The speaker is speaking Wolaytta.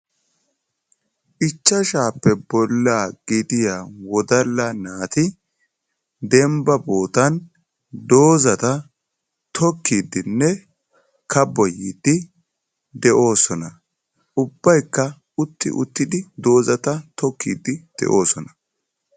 Ichchashsha bolla gidiya wodala naati dembba boottan doozata tokkidinne kabboyidde de'oosona. ubbaykka utti uttidi doozata tokkide de'oosona.